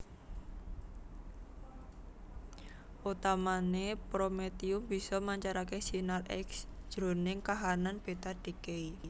Utamané prometium bisa mancarké sinar X jroning kahanan beta decay